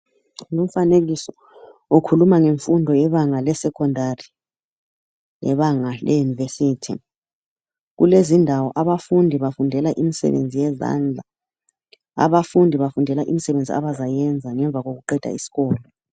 Umfanekiso ukhuluma ngemfundo yebanga lesecondary lebanga le university kulezindawo abafundi bafundela imisebenzi yezandla , abafundi bafundela imisebenzi abazayenza ngemva kokuqeda isikolo.